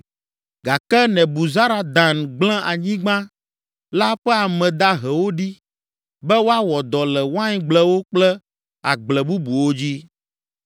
Gake Nebuzaradan gblẽ anyigba la ƒe ame dahewo ɖi be woawɔ dɔ le waingblewo kple agble bubuwo dzi.